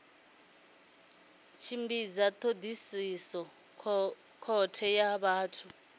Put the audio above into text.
tshimbidza thodisiso khothe ya vhathu